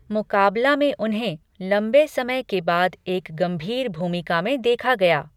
मुकाबला में उन्हें लंबे समय के बाद एक गंभीर भूमिका में देखा गया।